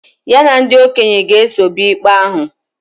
Ya na ndị okenye ga-eso bịa ikpe ahụ